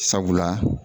Sabula